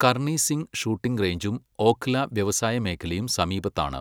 Karni Singh shooting റേഞ്ചും ഓഖ്ല വ്യവസായ മേഖലയും സമീപത്താണ്.